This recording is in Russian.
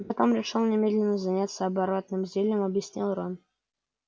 но потом решили немедленно заняться оборотным зельем объяснил рон